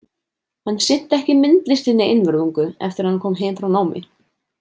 Hann sinnti ekki myndlistinni einvörðungu eftir að hann kom heim frá námi.